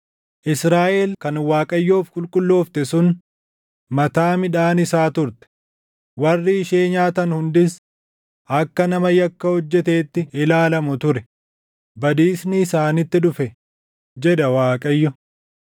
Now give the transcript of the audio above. Israaʼel kan Waaqayyoof qulqulloofte sun, mataa midhaan isaa turte; warri ishee nyaatan hundis akka nama yakka hojjeteetti ilaalamu ture; badiisnis isaanitti dhufe’ ” jedha Waaqayyo.